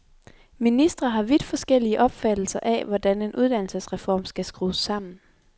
Ministre har vidt forskellige opfattelser af hvordan en uddannelsesreform skal skrues sammen.